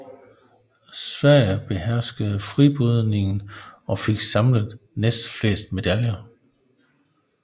Sverige beherskede fribrydningen og fik samlet næstflest medaljer